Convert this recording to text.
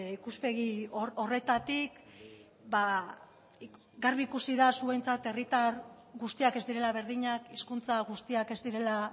ikuspegi horretatik garbi ikusi da zuentzat herritar guztiak ez direla berdinak hizkuntza guztiak ez direla